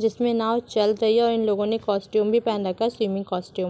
जिसमें नाव चल रही है और इन लोगों ने कास्टूम भी पहन रखा है स्विमिंग कास्टूम ।